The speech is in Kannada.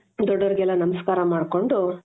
ದೊಡ್ದೊರಿಗೆಲ್ಲಾ ನಮಸ್ಕಾರ ಮಾಡ್ಕೊಂಡು .